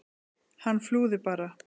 Hann flúði bara!